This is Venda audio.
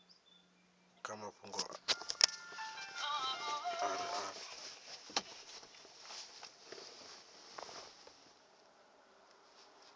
kha mafhungo a re afho